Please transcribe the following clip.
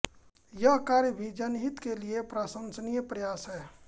यह कार्य भी जनहित के लिए प्रशंसनीय प्रयास है